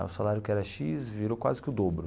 Aí o salário que era xis virou quase que o dobro.